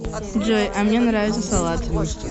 джой а мне нравится салат